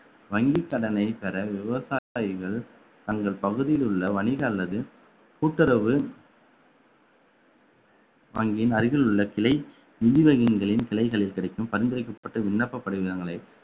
வங்கி கடனை பெற விவசாயிகள் தங்கள் பகுதியில் உள்ள வணிக அல்லது கூட்டுறவு வங்கியின் அருகில் உள்ள கிளை நிதி வங்கியின் கிளைகளில் கிடைக்கும் பரிந்துரைக்கப்பட்டு விண்ணப்ப படிவங்களை